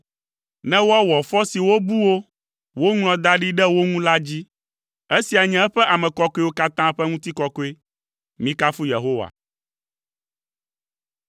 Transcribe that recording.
ne woawɔ fɔ si wobu wo, woŋlɔ da ɖi ɖe wo ŋu la dzi. Esia nye eƒe ame kɔkɔewo katã ƒe ŋutikɔkɔe. Mikafu Yehowa.